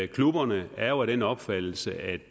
klubberne er jo af den opfattelse at